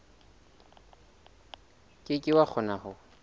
ke ke wa kgona ho